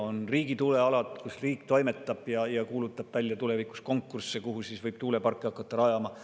On riigi tuulealad, kus riik toimetab ja kuulutab välja tulevikus konkursse, kuhu siis võib tuuleparke hakata rajama.